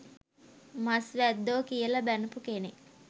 මස් වැද්දෝ කියල බැනපු කෙනෙක්.